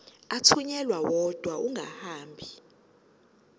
athunyelwa odwa angahambi